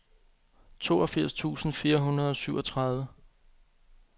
toogfirs tusind fire hundrede og syvogtredive